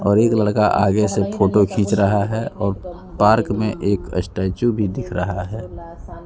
और एक लड़का आगे से फोटो खींच रहा है और पार्क में एक स्टैचू भी दिख रहा है।